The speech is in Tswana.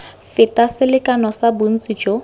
feta selekano sa bontsi jo